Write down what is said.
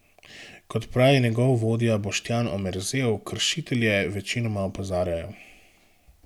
Kot pravi njegov vodja Boštjan Omerzel, kršitelje večinoma opozarjajo.